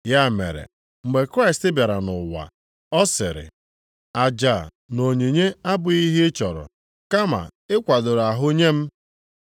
Ya mere mgbe Kraịst bịara nʼụwa, ọ sịrị, “Aja na onyinye abụghị ihe ị chọrọ kama ị kwadoro ahụ nye m.